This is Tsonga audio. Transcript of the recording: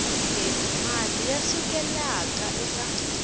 leti mati ya sukelaka eka